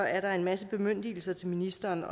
at der er en masse bemyndigelser til ministeren